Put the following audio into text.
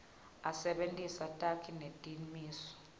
asebentise takhi netimiso